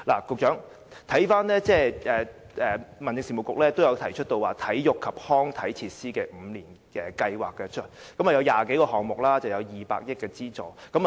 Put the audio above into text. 局長，翻看資料，民政事務局曾提出有關體育及康體設施的5年計劃，涉及20多個項目及200億元資助。